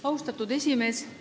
Austatud esimees!